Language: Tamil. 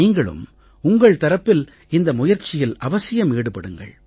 நீங்களும் உங்கள் தரப்பில் இந்த முயற்சியில் அவசியம் ஈடுபடுங்கள்